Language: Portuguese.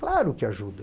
Claro que ajuda.